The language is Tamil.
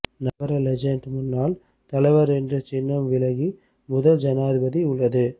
நகர லெஜண்ட் முன்னாள் தலைவர் என்று சின்னம் விலகி முதல் ஜனாதிபதி உள்ளது